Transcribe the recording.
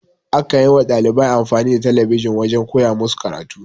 A kan yi wa dalibai amfani da talabijin wajen koya musu karatu.